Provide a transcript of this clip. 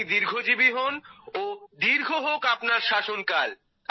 আপনি দীর্ঘজীবী হোন ও দীর্ঘ হোক আপনার শাসনকাল